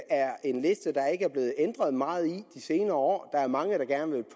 er en liste der ikke er blevet ændret meget i de senere år der er mange der gerne vil